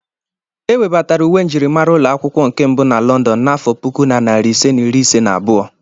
Ewebatara uwe njirimara ụlọ akwụkwọ nke mbụ na Lọndọn n'afọ puku na narị ise na iri ise na abụọ.